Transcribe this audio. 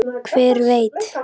Hver veit!